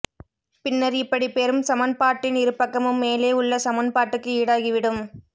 பின்னர் இப்படி பெறும் சமன்பாட்டின் இருபக்கமும் மேலே உள்ள சமன்பாட்டுக்கு ஈடாகிவிடும்